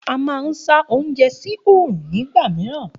A máa ń sá oúnjẹ sí oòrùn nígbà mìíràn